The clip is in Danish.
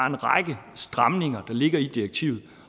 en række stramninger der ligger i direktivet